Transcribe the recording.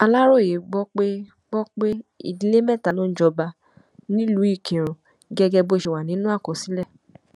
aláròye gbọ pé gbọ pé ìdílé mẹta ló ń jọba nílùú ìkírùn gẹgẹ bó ṣe wà nínú àkọsílẹ